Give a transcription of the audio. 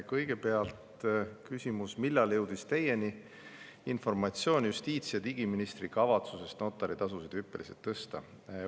Kõigepealt küsimus: "Millal jõudis Teieni informatsioon justiits- ja digiministri kavatsusest notaritasusid hüppeliselt tõsta?